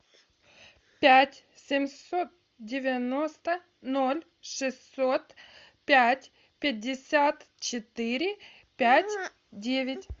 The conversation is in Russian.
пять семьсот девяносто ноль шестьсот пять пятьдесят четыре пять девять